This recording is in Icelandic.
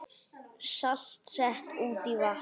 Salt sett út í vatn